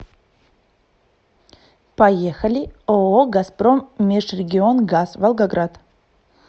поехали ооо газпром межрегионгаз волгоград